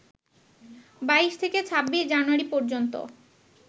২২ থেকে ২৬ জানুয়ারি পর্যন্ত